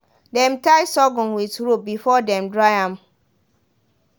dem tie sorghum with rope before dem dry am.